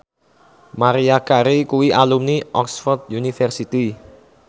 Maria Carey kuwi alumni Oxford university